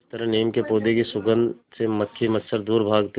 जिस तरह नीम के पौधे की सुगंध से मक्खी मच्छर दूर भागते हैं